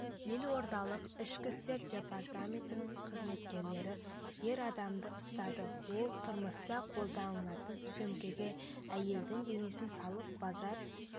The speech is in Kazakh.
елордалық ішкі істер департаментінің қызметкерлері ер адамды ұстады ол тұрмыста қолданылатын сөмкеге әйелдің денесін салып базар